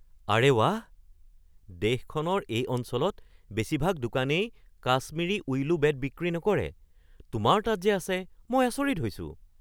আৰে বাহ! দেশখনৰ এই অঞ্চলত বেছিভাগ দোকানেই কাশ্মিৰী উইলো বেট বিক্ৰী নকৰে। তোমাৰ তাত যে আছে মই আচৰিত হৈছোঁ।